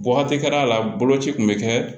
Wagati kɛra la boloci kun be kɛ